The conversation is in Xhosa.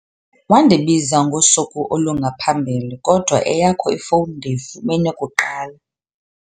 Wandibiza ngosuku olungaphambili kodwa eyakho ifowuni ndiyifumene kuqala.